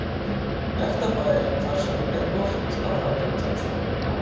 Ekta bær þar sem er gott að halda utan um svona hópa.